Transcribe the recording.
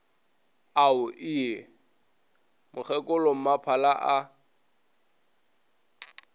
ao ie ge mokgekolommaphala a